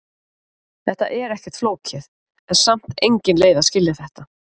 Þetta er ekkert flókið, en samt engin leið að skilja þetta.